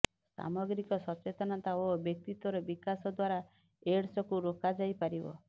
ସାମଗ୍ରିକ ସଚେତନତା ଓ ବ୍ୟକ୍ତିତ୍ୱର ବିକାଶ ଦ୍ୱାରା ଏଡସ୍ କୁ ରୋକାଯାଇପାରିବ